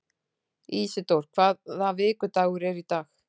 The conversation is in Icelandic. Ísidóra, hvaða vikudagur er í dag?